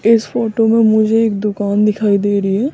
इस फोटो में मुझे एक दुकान दिखाई दे रही है।